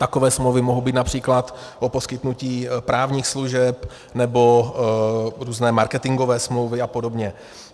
Takové smlouvy mohou být například o poskytnutí právních služeb nebo různé marketingové smlouvy a podobně.